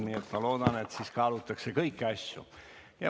Nii et ma loodan, et siis kaalutakse kõiki asju.